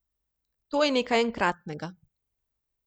To je nekaj enkratnega.